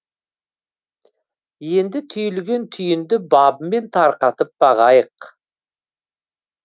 енді түйілген түйінді бабымен тарқатып бағайық